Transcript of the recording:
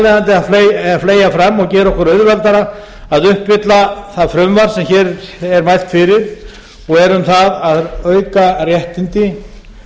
leiðandi að fleygja fram og gera okkur auðveldara að uppfylla það frumvarp sem hér er mælt fyrir og er um það að auka réttindi